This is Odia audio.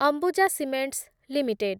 Ambuja cements limited